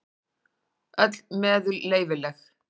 Öll meðul leyfileg.